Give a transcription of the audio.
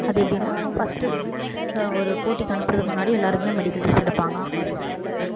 அது எப்படின்னா first ஆஹ் ஒரு போட்டிக்கு அனுப்பறதுக்கு முன்னாடி எல்லாருக்குமே medical test எடுப்பாங்க.